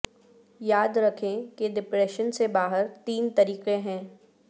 یاد رکھیں کہ ڈپریشن سے باہر تین طریقے ہیں